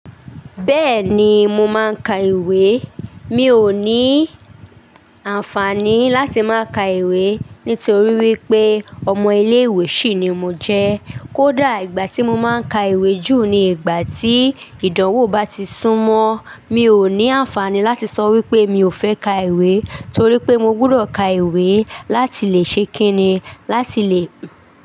Bẹ́ẹ̀ni mo máa ń ka ìwé. Mi ò ní àǹfààní láti má ka ìwé nítorí wípé ọmọ ilé ìwé sì ni mo jẹ́. Kódà ìgbà tí mo máa ń ka ìwé jù ni ìgbà tí ìdánwò bá ti sún mọ́. Mi ò ní àǹfààní láti sọ wípé mi ò fẹ́ ka ìwé torí pé mo gbudọ̀ ka ìwé láti lè ṣe kínni, láti lè.